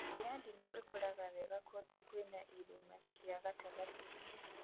Mĩtĩ ya ndimũ ĩkũraga wega kũndũ kwĩna irĩma cia gatagatĩ-inĩ